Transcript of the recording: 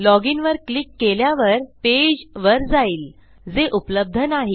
log in वर click केल्यावर पेजवर जाईल जे उपलब्ध नाही